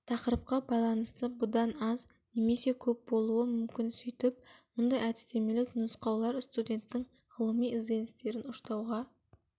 тақырыпқа байланысты бұдан аз немесе көп болуы мүмкін сөйтіп мұндай әдістемелік нұсқаулар студенттің ғылыми ізденістерін ұштауға